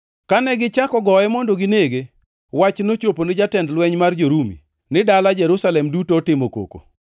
Kane gichako goye mondo ginege, wach nochopo ni jatend lweny mar jo-Rumi, ni dala Jerusalem duto otimo koko.